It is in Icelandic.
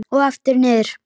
Og aftur niður.